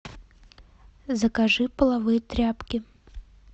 закажи половые тряпки